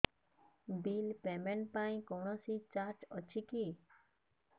bill payment ପାଇଁ କୌଣସି charge ଅଛି କି